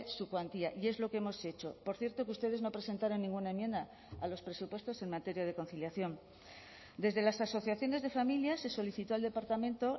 su cuantía y es lo que hemos hecho por cierto que ustedes no presentaron ninguna enmienda a los presupuestos en materia de conciliación desde las asociaciones de familia se solicitó al departamento